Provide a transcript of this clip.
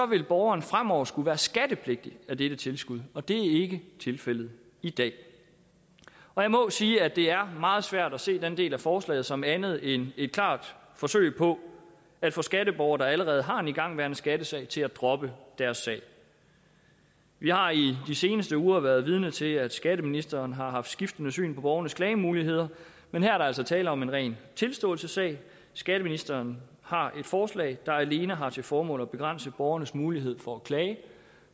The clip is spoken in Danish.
vil borgeren fremover skulle være skattepligtig af dette tilskud og det er ikke tilfældet i dag og jeg må jo sige at det er meget svært at se den del af forslaget som andet end et klart forsøg på at få skatteborgere der allerede har en igangværende skattesag til at droppe deres sag vi har i de seneste uger været vidne til at skatteministeren har haft skiftende syn på borgernes klagemuligheder men her er der altså tale om en ren tilståelsessag skatteministeren har et forslag der alene har til formål at begrænse borgernes mulighed for at klage